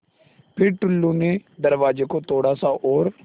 फ़िर टुल्लु ने दरवाज़े को थोड़ा सा और